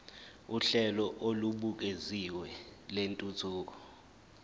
uhlelo olubukeziwe lwentuthuko